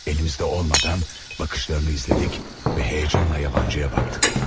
Əlimizdə olmadan baxışlarını izlədik və həyəcanla yabancıya baxdıq.